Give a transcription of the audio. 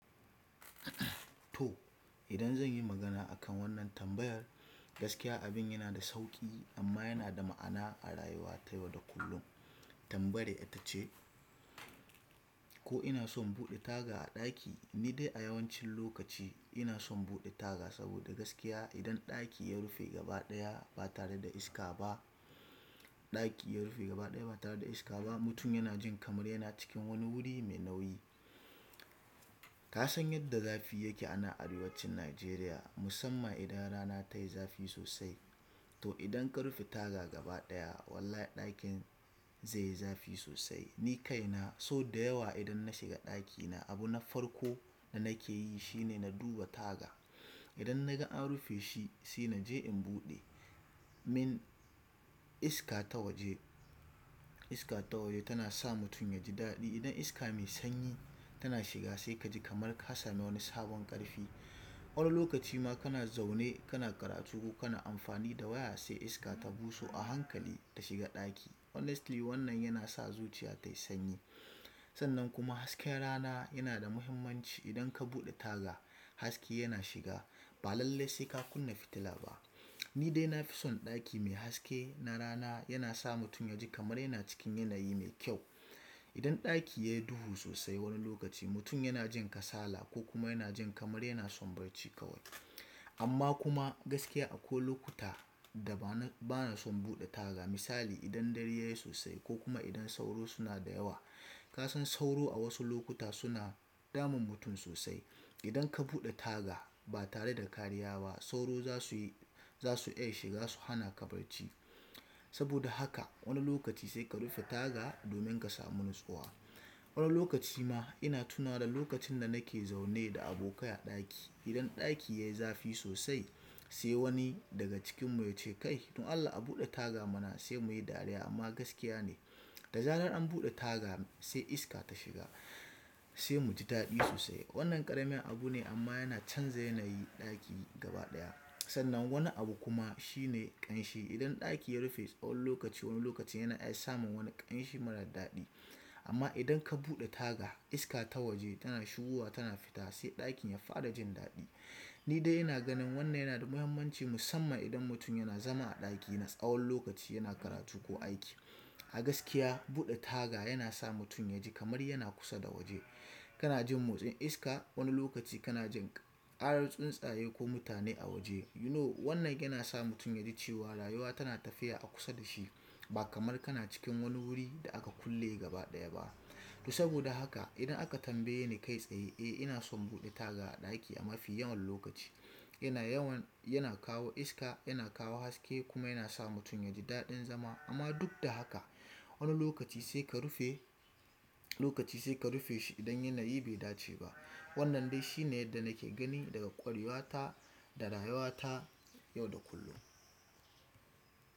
To, idan zan yi magana a kan wannan tambayar, gaskiya abin yana da sauƙi amma yana da ma'ana a rayuwa ta yau da kullum. Tambayar ita ce, ko ina son buɗe taga a ɗaki? Ni dai a yawancin lokaci ina son buɗe taga. Saboda gaskiya, idan ɗaki ya rufe gaba ɗaya ba tare da iska ba, ɗaki ya rufe gaba ɗaya ba tare da iska ba, mutum yana jin kamar yana cikin wani wuri mai nauyi. Ka san yadda zafi yake anan arewacin Najeriya, musamman idan rana tayi zafi sosai. To idan ka rufe taga gaba ɗaya, wallahi ɗakin zai yi zafi sosai. Ni kaina so da yawa idan na shiga ɗakina, abu na farko da nake yi shine na duba taga. Idan na ga an rufe shi sai na je in buɗe. Min iska ta waje, iska ta waje tana sa mutum yaji daɗi. Idan iska mai sanyi tana shiga sai ka ji kamar ka sami wani sabon ƙarfi. Wani lokaci ma kana zaune kana karatu ko kana amfani da waya sai iska ta buso a hankali ta shiga ɗaki. Honestly wannan yana sa zuciya tayi sanyi. Sannan kuma hasken rana yana da muhimmanci sosai idan kabude taga hake yana shiga basai lallai kakunna fitila na ni dai na fi son ɗaki mai haske na rana. Yana sa mutum yaji kamar yana cikin yanayi mai kyau. Idan ɗaki yayi duhu sosai wani lokaci mutum yana jin kasala ko kuma yana jin kamar yana son barci kawai. Amma kuma gaskiya akwai lokuta da bana, bana son buɗe taga. Misali idan dare yayi sosai ko kuma idan sauro suna da yawa. Ka san sauro a wasu lokuta suna damun mutum sosai. Idan ka buɗe taga ba tare da kariya ba sauro za su, za su iya shiga su hana ka barci. Saboda haka wani lokaci sai ka rufe taga domin ka samu natsuwa. Wani lokaci ma ina tunawa da lokacin da nake zaune da abokai a ɗaki. Idan ɗaki yayi zafi sosai sai wani daga cikinmu ya ce "Kai don Allah a buɗe taga mana sai muyi dariya." Amma gaskiya ne, da zarar an buɗe taga sai iska ta shiga sai mu ji daɗi sosai. Wannan ƙarami abu ne amma yana canza yanayi ɗaki gaba ɗaya. Sannan wani abu kuma shine ƙanshi. Idan ɗaki yarufe tsawon lokaci wani lokaci yana iya samun wani kamshi marar daɗi amma idan ka buɗe taga iska ta waje tana shigowa tana fita sai ɗakin ya fara jin daɗi. Ni dai ina ganin wannan yana da muhimmanci musamman idan mutum yana zama a ɗaki na tsawon lokaci yana karatu ko aiki. A gaskiya buɗe taga yana sa mutum yaji kamar yana kusa da waje. Kana jin motsin iska. Wani lokaci kana jin ƙarar tsuntsaye ko mutane a waje. You know wannan yana sa mutum yaji cewa rayuwa tana tafiya a kusa da shi ba kamar kana cikin wani wuri da aka kulle gaba ɗaya ba. To saboda haka idan aka tambaye ni kai tsaye, eh ina son buɗe taga a ɗaki a mafi yawan lokaci. Yana yawan, yana kawo iska, yana kawo haske kuma yana sa mutum yaji daɗin zama. Amma duk da haka wani lokaci sai ka rufe, lokaci sai ka rufe shi idan yanayi bai dace ba. Wannan dai shine yadda nake gani daga ƙwarewa ta da rayuwa ta yau da kullum.